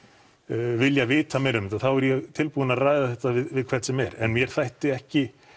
vilja vita meira um þetta þá er ég tilbúinn að ræða þetta við hvern sem er en mér þætti ekki